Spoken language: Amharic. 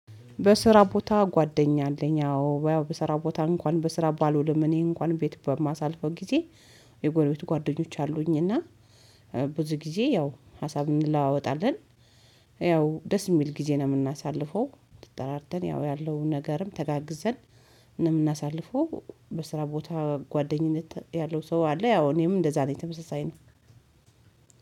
በስራ ቦታ ጓደኛ አለኝ አዎ ያው በስራ ቦታ እንኳን በስራ ባልውልም እኔ እንኳን ቤት በማሳልፈው ጊዜ። የጎረቤቱ ጓደኞች አሉኝ እና ብዙ ጊዜ ያው ሀሳብ እንለዋወጣለን። ያው ደስ የሚል ጊዜ ነው የምናሳልፈው ተጠራርተን ያው ያለውን ነገርም ተጋግዘን ነው የምናሳልፈው። በስራ ቦታ ጓደኝነት ያለው ሰው አለ ያው እኔም እንደዛ ነኝ ተመሳሳይ ነው።